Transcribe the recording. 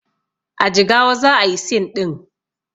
A jigawa za ayi scene ɗin